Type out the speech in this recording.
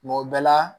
Kuma o bɛɛ la